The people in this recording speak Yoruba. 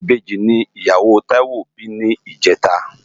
Ibeji ni iyáwó Taiwo bi nijètá